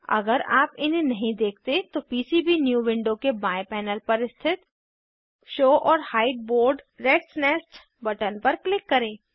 अगर आप इन्हें नहीं देखते तो पीसीबीन्यू विंडो के बाएं पैनल पर स्थित show or hide board ratsnest button पर क्लिक करें